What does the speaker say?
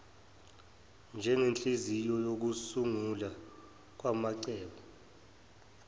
njengenhliziyo yokusungulwa kwamacebo